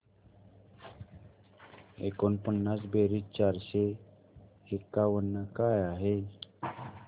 एकोणपन्नास बेरीज चारशे एकावन्न काय